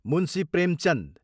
Munshi Premchand